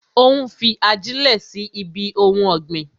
Ó ń fi ajilẹ sí ibi ohun ọ̀gbìn